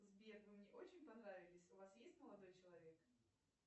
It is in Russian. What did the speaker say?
сбер вы мне очень понравились у вас есть молодой человек